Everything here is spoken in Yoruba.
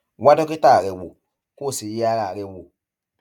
wá dókítà rẹ wò kó sì yẹ ara rẹ wò